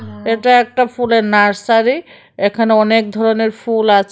এটা একটা ফুলের নার্সারি এখানে অনেক ধরনের ফুল আছে।